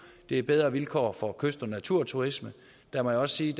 er bedre vilkår for kyst og naturturisme og der må jeg også sige